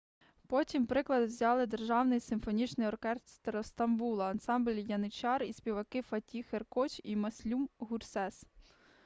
потім приклад взяли державний симфонічний оркестр стамбула ансамбль яничар і співаки фатіх еркоч і мюслюм гюрсес